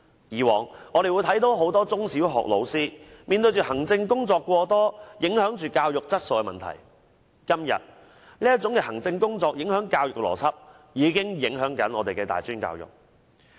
以往，我們看到很多中小學老師面對行政工作過多，影響教育質素的問題；今天，這些影響教育邏輯的行政工作，正影響着我們的大專教育。